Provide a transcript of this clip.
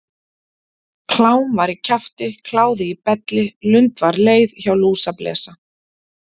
Klám var í kjafti, kláði í belli, lund var leið, hjá lúsablesa.